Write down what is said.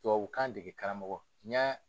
Tubabukan dege karamɔgɔ, n ɲa.